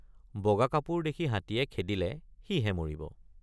বগা কাপোৰ দেখি হাতীয়ে খেদিলে সিহে মৰিব।